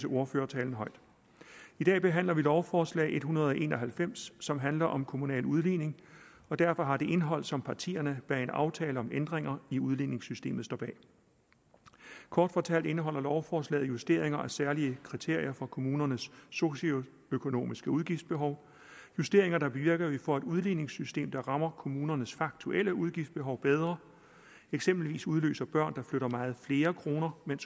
ordførertalen højt i dag behandler vi lovforslag en hundrede og en og halvfems som handler om kommunal udligning og derfor har et indhold som partierne bag en aftale om ændringer i udligningssystemet står bag kort fortalt indeholder lovforslaget justeringer af særlige kriterier for kommunernes socioøkonomiske udgiftsbehov justeringer der bevirker at vi får et udligningssystem der rammer kommunernes faktuelle udgiftsbehov bedre eksempelvis udløser børn der flytter meget flere kroner mens